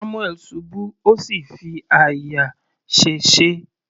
Samuel ṣubú ó sì fi àyà sèse.